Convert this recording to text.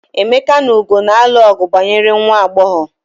Emeka na Ugo na-alụ ọgu banyere nwa agbọghọ.